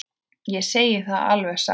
Ég segi það alveg satt.